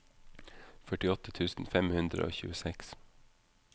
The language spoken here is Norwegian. førtiåtte tusen fem hundre og tjueseks